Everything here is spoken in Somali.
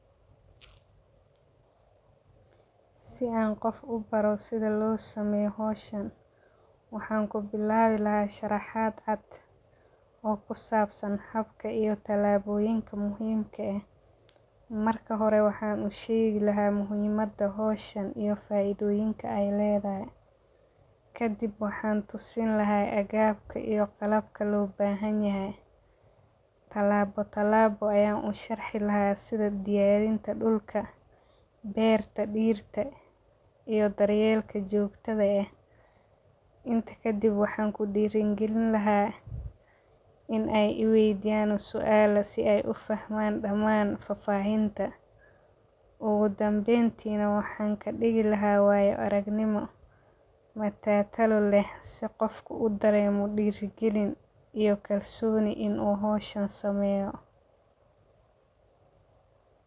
Si an ubaro si lo sameyo howshan waxan kubilawi lahay sharaxaad caad,o ku sabsan habka iyo tilabonyinka muhiimka eh, marka horee waxan ushegi lahay muhiimada howshan iyo faidoyinka ee ledahay, kadiib waxan tusin lahay aggabka iyo qalabka lo bahan yahay, talabo talabo ayan u sharxi lahay sithaa diyarinta dulka, beertaa, dirtaa iyo daryelka jogtada eh, inta kadiib waxan ku dira galin laha in ee iweydiyan suala si ey u fahman daman fafahintaa, ogu danbentina waxan dihi lahay wayo arag nimo, matatalo leh si qoofku udaremo dirigalin iyo kalsoni in u hoshan sameyo.